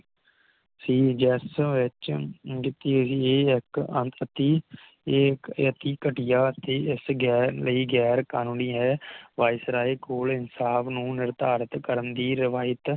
ਸੀ ਜਿਸ ਵਿਚ ਦਿਤੀ ਗਈ ਇਕ ਅੰਕਤੀ ਇਹ ਇਕ ਘਟੀਆ ਅਤੇ ਇਸ ਗੈਰ ਲਈ ਗੈਰ ਕਾਨੂੰਨੀ ਹੈ ਵਾਈਸ ਰਾਇ ਕੋਲ ਇਨਸਾਫ ਨੂੰ ਨਿਰਧਾਰਿਤ ਕਰਨ ਦੀ ਰਵਾਇਤ